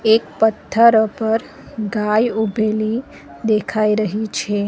એક પથ્થર ઉપર ગાય ઉભેલી દેખાઈ રહી છે.